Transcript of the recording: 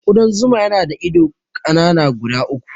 Ƙudan zuma yana da ido ƙanana guda uku.